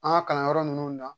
An ka kalanyɔrɔ ninnu na